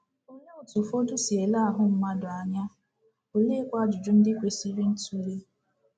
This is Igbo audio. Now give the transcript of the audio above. Olee otú ụfọdụ si ele ahụ mmadụ anya, oleekwa ajụjụ ndị kwesịrị ntụle?